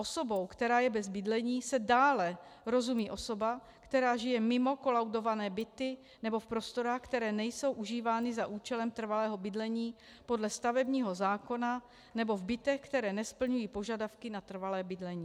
Osobou, která je bez bydlení, se dále rozumí osoba, která žije mimo kolaudované byty nebo v prostorách, které nejsou užívány za účelem trvalého bydlení podle stavebního zákona, nebo v bytech, které nesplňují požadavky na trvalé bydlení.